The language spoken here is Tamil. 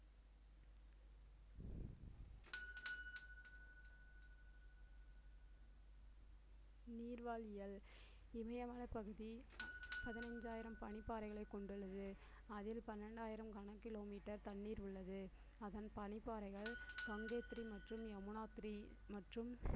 நீர் இமயமலை பகுதி பதினைந்தாயிரம் பனிப்பாறைகளை கொண்டுள்ளது அதில் பன்னிரண்டாயிரம் கன kilometer தண்ணீர் உள்ளது அதன் பனிப்பாறைகள் கங்கோத்திரி மற்றும் யமுனோத்திரி மற்றும்